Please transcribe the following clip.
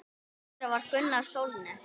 Einn þeirra var Gunnar Sólnes.